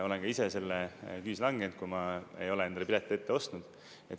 Olen ka ise selle küüsi langenud, kui ma ei ole endale piletit ette ostnud.